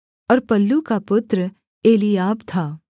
और पल्लू का पुत्र एलीआब था